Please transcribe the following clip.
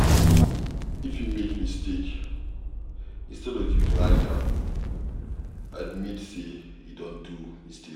If you make mistake instead of ypu to hide am, admit sey you don do mistake